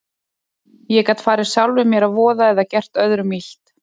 Ég gat farið sjálfum mér að voða eða gert öðrum illt.